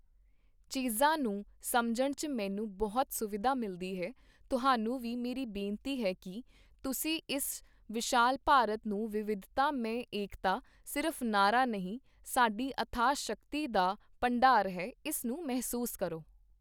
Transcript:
ਚੀਜ਼ਾਂ ਨੂੰ ਸਮਝਣ ਚ ਮੈਨੂੰ ਬਹੁਤ ਸੁਵਿਧਾ ਮਿਲਦੀ ਹੈ, ਤੁਹਾਨੂੰ ਵੀ ਮੇਰੀ ਬੇਨਤੀ ਹੈ ਕਿ ਤੁਸੀਂ ਇਸ ਵਿਸ਼ਾਲ ਭਾਰਤ ਨੂੰ ਵਿਵਿਧਤਾ ਮੇਂ ਏਕਤਾ ਸਿਰਫ ਨਾਅਰਾ ਨਹੀਂ, ਸਾਡੀ ਅਥਾਹ ਸ਼ਕਤੀ ਦਾ ਭੰਡਾਰ ਹੈ, ਇਸ ਨੂੰ ਮਹਿਸੂਸ ਕਰੋ।